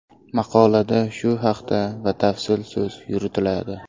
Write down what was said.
Maqolada shu haqda batafsil so‘z yuritiladi.